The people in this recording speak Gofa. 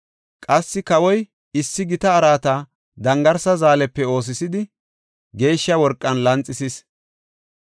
Qassi kawoy issi gita araata dangarsa zaalepe oosisidi geeshsha worqan lanxisis.